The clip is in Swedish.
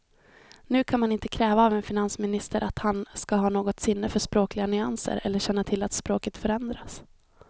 Nu kan man inte kräva av en finansminister att han ska ha något sinne för språkliga nyanser eller känna till att språket förändrats.